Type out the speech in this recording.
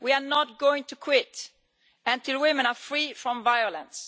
We are not going to quit until women are free from violence.